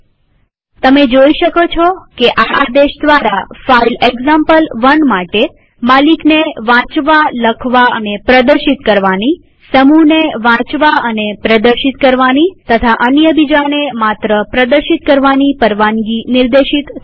હવે તમે જોઈ શકો છો કે આ આદેશ દ્વારા ફાઈલ એક્ઝામ્પલ1 માટે માલિકને વાંચવાનીલખવાનીપ્રદર્શિત કરવાની પરવાનગીસમૂહને વાંચવાનીપ્રદર્શિત કરવાની પરવાનગી અને અન્ય બીજાને માત્ર પ્રદર્શિત કરવાની પરવાનગી નિર્દેશિત થઇ